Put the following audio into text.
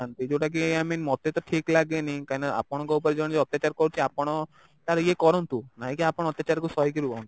ଯୋଉଟା କି I mean ମତେ ତ ଠିକ ଲାଗେନି କାହିଁକି ନା ଆପଣଙ୍କ ଉପରେ ଜଣେ ଅତ୍ୟାଚାର କରୁଛି ଆପଣ ତାର ଇଏ କରନ୍ତୁ ମାନେ ନାହିଁ କି ଆପଣ ଅତ୍ୟାଚାର କୁ ସହିକି ରୁହନ୍ତୁ